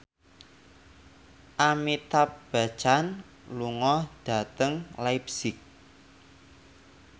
Amitabh Bachchan lunga dhateng leipzig